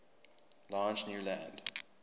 large new land